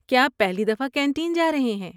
کیا آپ پہلی دفعہ کینٹین جا رہے ہیں؟